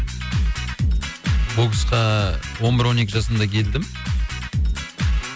боксқа он бір он екі жасымда келдім